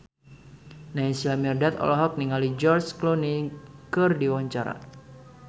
Naysila Mirdad olohok ningali George Clooney keur diwawancara